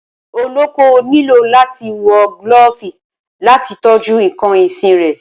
Olóko nílò àtí wọ gilófì làtí tọjú ìkàn ìsín rẹ